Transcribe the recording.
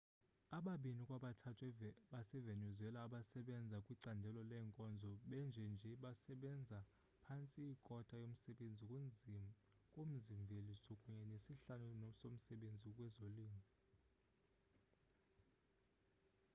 ababini kwabathathu basevenezuela abasebenza kwicandelo leenkonzo benjenje basebenza phantse ikota yomsebenzi kumzi mveliso kunye nesihlanu somsebenzi kwezolimo